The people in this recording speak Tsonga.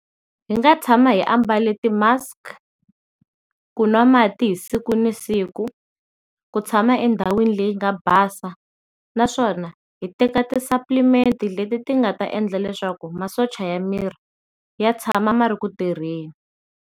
Hi nga tshama hi ambale ti mask, ku nwa mati hi siku ni siku, ku tshama endhawini leyi nga basa naswona hi teka ti supplement-i leti ti nga ta endla leswaku masocha ya miri ya tshama ma ri ku tirheni.